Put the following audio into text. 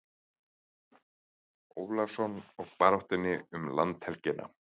Ólafssonar og baráttunni um landhelgina.